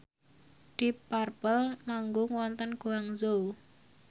deep purple manggung wonten Guangzhou